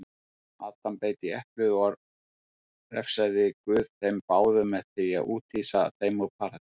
Adam beit í eplið og refsaði guð þeim báðum með því úthýsa þeim úr paradís.